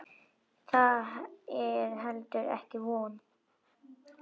Það er heldur ekki von.